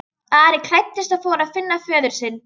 Ari klæddist og fór að finna föður sinn.